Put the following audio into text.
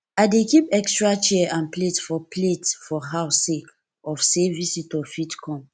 i dey keep extra chair and plate for plate for house sake of sey visitor fit come